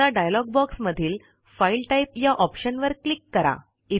आता डायलॉग बॉक्समधील file type या ऑप्शनवर क्लिक करा